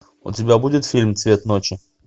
у тебя будет фильм цвет ночи